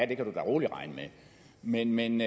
det kan du da roligt regne med men